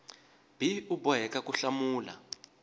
b u boheka ku hlamula